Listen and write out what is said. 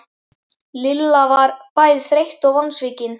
Lilla var bæði þreytt og vonsvikin.